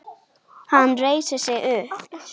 Hann reisir sig upp.